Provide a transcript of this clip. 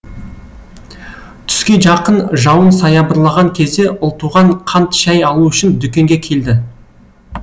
түске жақын жауын саябырлаған кезде ұлтуған қант шай алу үшін дүкенге келді